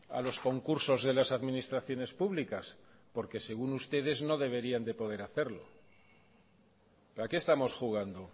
a los concursos de las administraciones públicas porque según ustedes no deberían de poder hacerlo a qué estamos jugando